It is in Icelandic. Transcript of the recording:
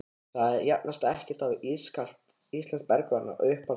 það jafnast ekkert á við ískalt íslenskt bergvatn Uppáhalds vefsíða?